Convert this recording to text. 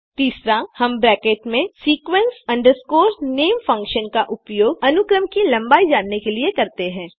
तीसरा हम ब्रैकेट में sequence name फंक्शन का उपयोग अनुक्रम की लम्बाई जानने के लिए करते हैं